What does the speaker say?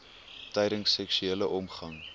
tydens seksuele omgang